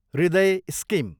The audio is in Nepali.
हृदय स्किम